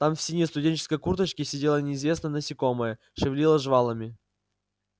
там в синей студенческой курточке сидело неизвестное насекомое шевелило жвалами